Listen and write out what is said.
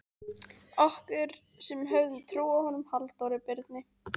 Okkur, sem höfðum trú á honum Halldóri Birni